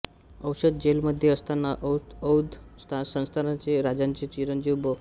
औंध जेलमध्ये असताना औंध संस्थानाच्या राजांचे चिरंजीव बॅ